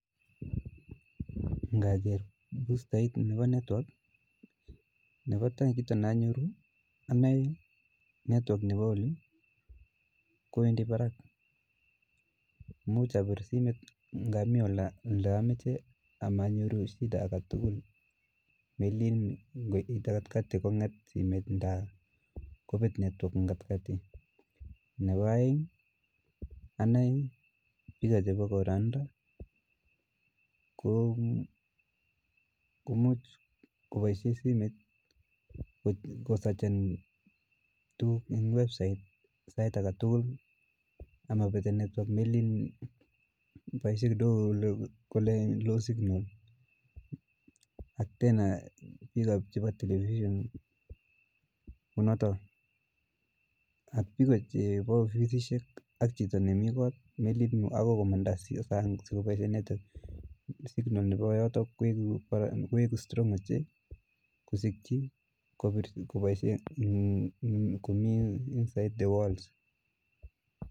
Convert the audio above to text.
Ng'okere bustait nebo network nebotai kiit nonyoru onoe network nebo olii kowendi barak, imuch abir simoit ng'amii oleomoche ak ko monyoru shida aketukul, meleen ng'oite katikati kong'et somoit ndaa kobet network en katikati, nebo oeng aneii bichu bokoroniton ko komuch koboishen simoit ko sachen tukuk chemii website sait aketukul amobete network meleen boishe kidogo koleen no signal ko ak tena biik chebo television konoton, nemii koot melen kiit neokoi komanda sang sikoboishen inendet siri nebo yotok koiku strong che kosikyi koboishen komii inside the walls.